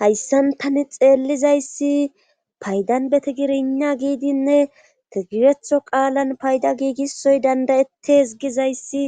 hayssantani xeellizayssi paydan beti girina giidinne tigiretho qaalan payda giigisoy dandayettes gizayssi